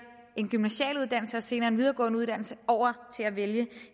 en gymnasial uddannelse og senere en videregående uddannelse over til at vælge